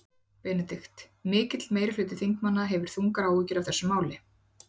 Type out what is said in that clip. BENEDIKT: Mikill meiri hluti þingmanna hefur þungar áhyggjur af þessu máli.